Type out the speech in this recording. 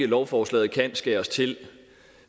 lovforslaget kan skæres til